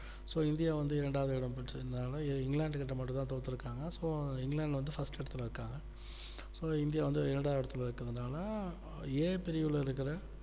so India வந்து இரண்டாவது எடம் பெற்றிருக்குறதுனாலா ஏ இங்கிலாந்துகிட்ட மட்டும் தா தோத்துருக்காங்க so இங்கிலாந்து வந்து first எடத்துல இருக்காங்க so இந்தியா வந்து இரண்டாவது எடத்துல இருக்கனால ஏ பிரிவுல இருக்குற